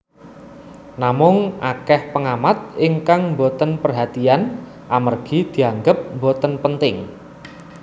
Namung akèh péngamat ingkang mbotén pérhatian amérgi dianggép mbotén pénting